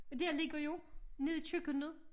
Og dér ligger jo nede i køkkenet